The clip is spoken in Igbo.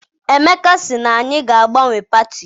Emeka sị na anyị ga agbanwe pati.